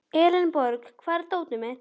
Elenborg, hvar er dótið mitt?